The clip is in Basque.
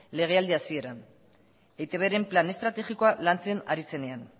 legealdi hasieran eitbren plan estrategikoa lantzen ari zenean